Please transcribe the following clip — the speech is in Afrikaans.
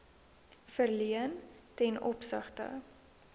verleen ten opsigte